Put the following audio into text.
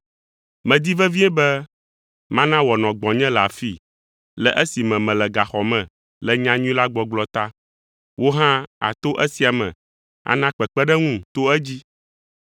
Medi vevie be mana wòanɔ gbɔnye le afii, le esime mele gaxɔ me le nyanyui la gbɔgblɔ ta. Wò hã àto esia me ana kpekpeɖeŋum to edzi.